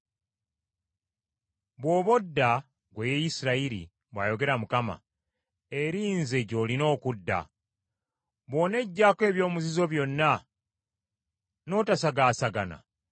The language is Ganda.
“Bw’oba odda, ggwe Isirayiri,” bw’ayogera Mukama , “eri nze gy’olina okudda. Bw’oneggyako eby’omuzizo byonna n’otosagaasagana,